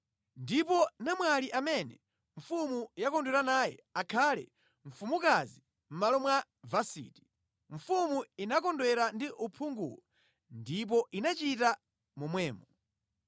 Ndipo namwali amene mfumu yakondwera naye akhale mfumukazi mʼmalo mwa Vasiti.” Mfumu inakondwera ndi uphunguwu, ndipo inachita momwemo.